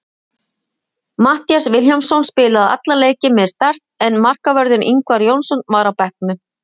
Matthías Vilhjálmsson spilaði allan leikinn með Start en markvörðurinn Ingvar Jónsson var á bekknum.